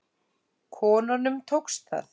Konunum tókst það.